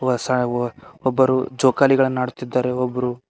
ವ ಸಾ ವ ಒಬ್ಬರು ಜೋಕಳಿಗಳನ್ನ್ ಆಡುತ್ತಿದ್ದಾರೆ ಒಬ್ರು--